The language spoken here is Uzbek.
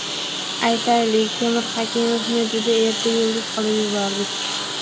Aytaylik, Temur Hakimovni juda erta yulduz qilib yubordik.